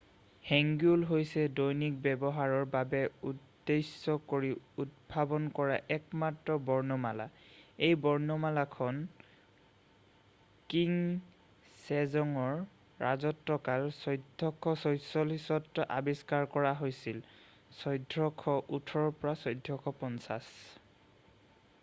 "hangeul হৈছে দৈনিক ব্যৱহাৰৰ বাবে উদ্দেশ্য কৰি উদ্ভাৱন কৰা একমাত্ৰ বৰ্ণমালা। এই বৰ্ণমালাখন কিং ছেজ'ঙৰ ৰাজত্বকাল ১৪৪৪-ত আৱিষ্কাৰ কৰা হৈছিল১৪১৮ – ১৪৫০।""